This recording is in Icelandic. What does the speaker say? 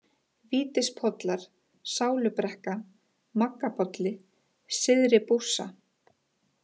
Vítispollar, Sálubrekka, Maggabolli, Syðri-Bússa